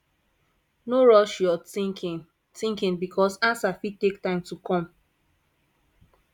no rush yur thinking thinking bikos ansa fit take time to kom